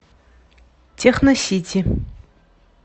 техносити